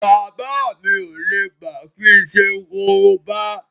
Bàbá mi ò lè gbà kí n ṣe korobá